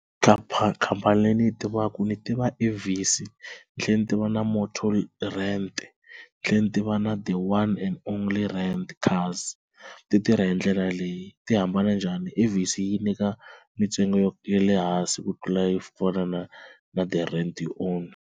khampani leyi ni yi tivaka ni tiva Avis ni tlhela ni tiva na Motor Rent ni tlhela ni tiva na The One and Only Rent Cars, ti tirha hi ndlela leyi ti hambana njhani Avisa yi nyika mintsengo ya le hansi ku tlula yo fana na na The Rent you Own.